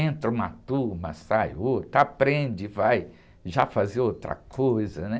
Entra uma turma, sai outra, aprende, vai já fazer outra coisa, né?